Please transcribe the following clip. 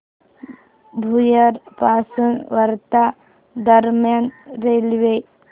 भुयार पासून वर्धा दरम्यान रेल्वे